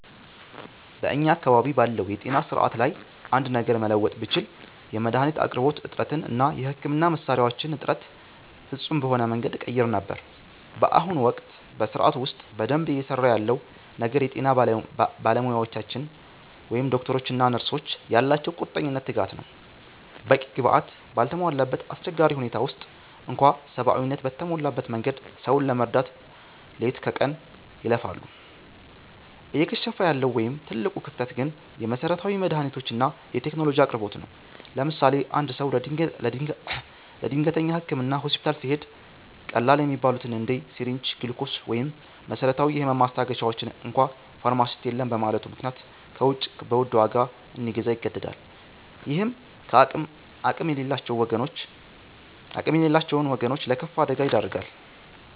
በእኛ አካባቢ ባለው የጤና ሥርዓት ላይ አንድ ነገር መለወጥ ብችል፣ የመድኃኒት አቅርቦት እጥረትን እና የሕክምና መሣሪያዎችን እጥረት ፍጹም በሆነ መንገድ እቀይር ነበር። በአሁኑ ወቅት በሥርዓቱ ውስጥ በደንብ እየሠራ ያለው ነገር የጤና ባለሙያዎቻችን (ዶክተሮች እና ነርሶች) ያላቸው ቁርጠኝነትና ትጋት ነው። በቂ ግብዓት ባልተሟላበት አስቸጋሪ ሁኔታ ውስጥ እንኳ ሰብአዊነት በተሞላበት መንገድ ሰውን ለመርዳት ሌሊት ከቀን ይለፋሉ። እየከሸፈ ያለው ወይም ትልቁ ክፍተት ግን የመሠረታዊ መድኃኒቶችና የቴክኖሎጂ አቅርቦት ነው። ለምሳሌ፦ አንድ ሰው ለድንገተኛ ሕክምና ሆስፒታል ሲሄድ፣ ቀላል የሚባሉትን እንደ ሲሪንጅ፣ ግሉኮስ ወይም መሰረታዊ የህመም ማስታገሻዎችን እንኳ ፋርማሲስት የለም በማለቱ ምክንያት ከውጭ በውድ ዋጋ እንዲገዛ ይገደዳል። ይህም አቅም የሌላቸውን ወገኖች ለከፋ አደጋ ይዳርጋል።